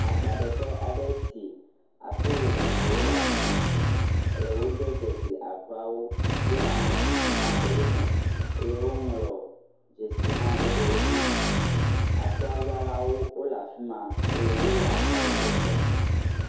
Akpa ɖe ƒe aɖe nye si. Akro vovovowo le afima eye wode dzisi akrowo to aŋɔ sisi na ɖewo me eye woŋlɔ dzesi hã ɖe ɖewo dzi. Akroa zã lawo le efima eye wole akroawo gbɔ kpɔm.